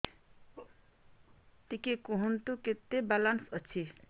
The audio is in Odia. ଟିକେ କୁହନ୍ତୁ କେତେ ବାଲାନ୍ସ ଅଛି